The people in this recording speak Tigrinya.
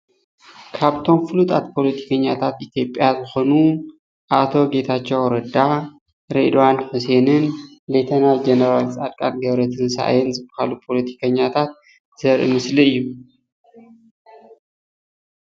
ካብቶም ፍሉጣት ፖለቲከኛታት ኢትዮጵያ ዝኾኑ ኣይቶ ጌታቸው ረዳ፣ ሬድዋን ሕሴንን ሌ/ ጀነራል ፃድቃን ገ/ትንሳኤን ዝባሃሉ ፖለቲከኛታት ዘርኢ ምስሊ እዩ፡፡